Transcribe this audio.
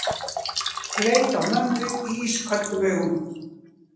Leit á mömmu ísköldum augum.